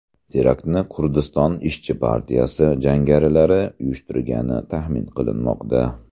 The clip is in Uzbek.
Teraktni Kurdiston ishchi partiyasi jangarilari uyushtirgani taxmin qilinmoqda.